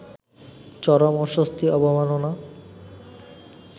চরম অস্বস্তি, অবমাননা